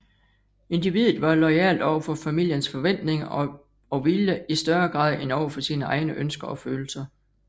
Individet var loyalt over for familiens forventninger og vilje i større grad end over for sine egne ønsker og følelser